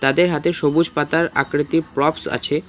তাদের হাতে সবুজ পাতার আকৃতির প্রপস আছে।